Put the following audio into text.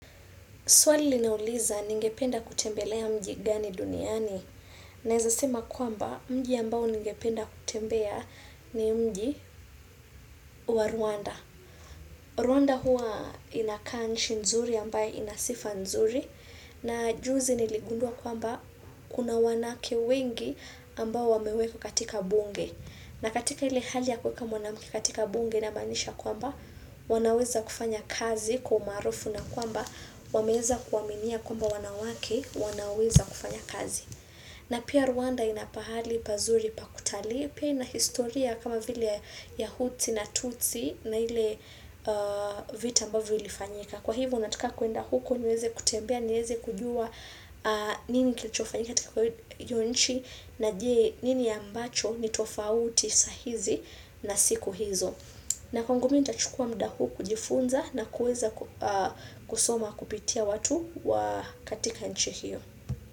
Swali linauliza ningependa kutembelea mji gani duniani naeza sema kwamba mji ambao ningependa kutembea ni mji wa Rwanda. Rwanda hua inakaa nchi nzuri ambaye inasifa nzuri na juzi niligundua kwamba kuna wanake wengi ambao wamewekwa katika bunge. Na katika hile hali ya kuweka mwanamke katika bunge inamanisha kwamba wanaweza kufanya kazi kwa umaarufu na kwamba wameeza kuwaminia kwamba wanawake wanaweza kufanya kazi. Na pia Rwanda inapahali pazuri pakutalii pia inahistoria kama vile ya hutsi na tutsi na hile vita ambavyo ilifanyika. Na kwa hivyo nataka kwenda huko niweze kutembea niweze kujua nini kilichofanyika katika hiyo nchi na je nini ambacho ni tofauti saa hizi na siku hizo. Na kwangu mimi nitachukua muda huu kujifunza na kuweza kusoma kupitia watu wa katika nchi hiyo.